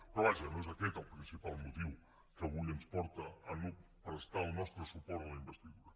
però vaja no és aquest el principal motiu que avui ens porta a no prestar el nostre suport a la investidura